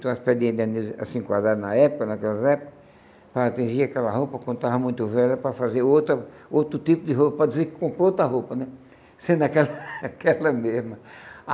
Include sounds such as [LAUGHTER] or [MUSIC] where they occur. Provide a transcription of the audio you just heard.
são as pedrinhas [UNINTELLIGIBLE] assim quadradas na época, naquelas épocas, para tingir aquela roupa, quando estava muito velha, para fazer outra outro tipo de roupa, para dizer que comprou outra roupa né, sendo aquela [LAUGHS] aquela mesma.